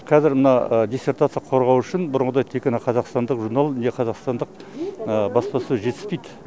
қазір мына диссертация қорғау үшін бұрынғыдай тек қана қазақстандық журнал не қазақстандық баспасөз жетіспейді